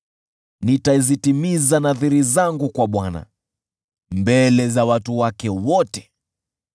Nitazitimiza nadhiri zangu kwa Bwana mbele za watu wake wote.